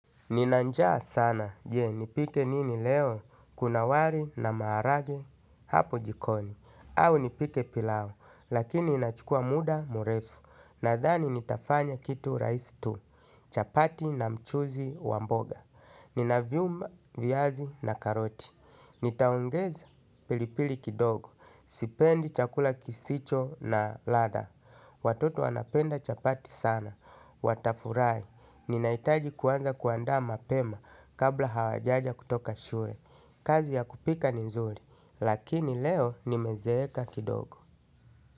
Ninanjaa sana, je, nipike nini leo, kuna wari na maharage, hapo jikoni, au nipike pilau, lakini inachukua muda murefu, nadhani nitafanya kitu raisi tu, chapati na mchuzi wa mboga. Nina vyuma viyazi na karoti. Nitaongeza pilipili kidogo. Sipendi chakula kisicho na latha. Watoto wanapenda chapati sana. Watafurahi. Ninaitaji kuanza kuanda mapema kabla hawajaja kutoka shule. Kiazi ya kupika. Lakini leo nimezeeka kidogo.